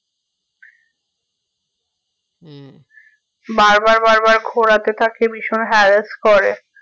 বার বার বার বার ঘোরাতে থাকে ভীষণ harass করে